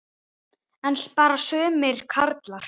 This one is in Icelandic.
En bara sumir karlar.